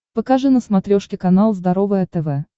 покажи на смотрешке канал здоровое тв